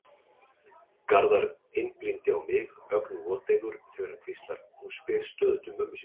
Garðar einblínir á mig, ögn voteygur þegar hann hvíslar: Hún spyr stöðugt um mömmu sína.